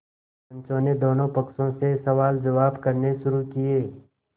पंचों ने दोनों पक्षों से सवालजवाब करने शुरू किये